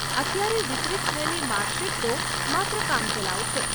અત્યારે વિતરિત થયેલી માર્કશીટ તો માત્ર કામચલાઉ છે.